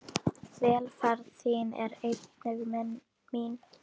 Velferð þín er einnig mín.